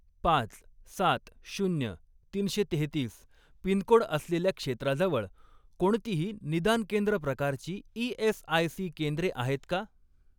पाच, सात, शून्य, तीनशे तेहेतीस पिनकोड असलेल्या क्षेत्राजवळ कोणतेही निदान केंद्र प्रकारची ई.एस.आय.सी. केंद्रे आहेत का?